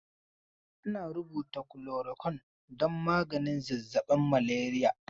Ana rubuta kulorakyun don maganin zazzaɓin maleriya.